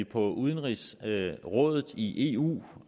på udenrigsrådet i eu